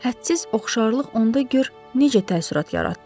Hədsiz oxşarlıq onda gör necə təəssürat yaratdı.